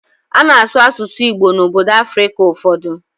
Ana asụ asụsụ Igbo na obodo Africa ụfọdụ